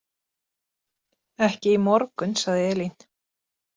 Ekki í morgun, sagði Elín.